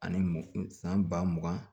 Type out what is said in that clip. Ani m san ba mugan